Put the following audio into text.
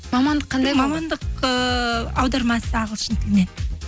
мамандық қандай мамандық ыыы аудармашы ағылшын тілінен